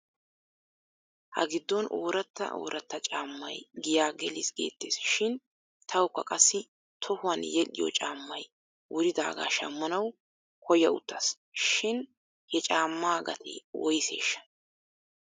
Ha giddon ooratta ooratta caammay giyaa gelis geettes shin tawkka qassi tohuwan yedhdhiyoo caamay wuridaagaa shammanaw koyawttas shin he caammaa gatee woyseeshsha?